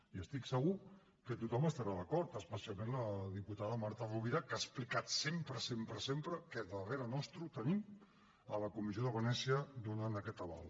i estic segur que tothom hi estarà d’acord especialment la diputada marta rovira que ha explicat sempre sempre que darrere nostre hi tenim la comissió de venècia per donar aquest aval